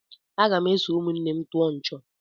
M ga-eso ụmụnne m tụọ nchọ̀.